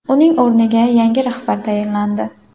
Uning o‘rniga yangi rahbar tayinlandi .